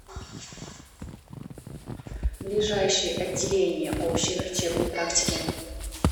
ближайший отделение общей врачебной практики